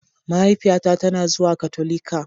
mahaifiyata tana zuwa Katolika.